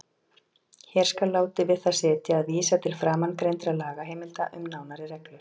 Hér skal látið við það sitja að vísa til framangreindra lagaheimilda um nánari reglur.